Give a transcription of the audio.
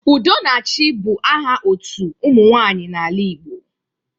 Udonachị bụ aha otu ụmụ nwaanyị n'ala Igbo